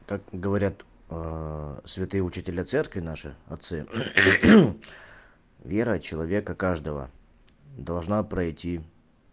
как говорят святые учителя церкви наши отцы вера человека каждого должна пройти